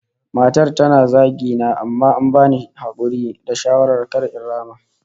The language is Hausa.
Matar tana zagi na amma an bani hakuri da shawara kar in rama